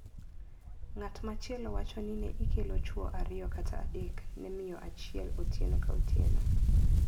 Ng`at machielo wacho ni ne ikelo chwo ariyo kata adek ne miyo achiel otieno ka otieno.